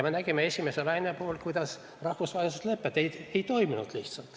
Me nägime esimese laine puhul, kuidas rahvusvahelised lepped lihtsalt ei toiminud.